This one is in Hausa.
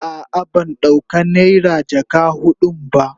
A'a ban dauka naira jaka hudun ba.